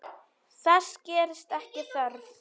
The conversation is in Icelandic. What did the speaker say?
Þess gerist ekki þörf.